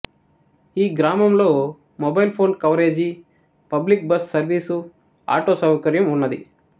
ఈ గ్రామంలో mobile phone coverage public bus service auto సౌకర్యం వున్నది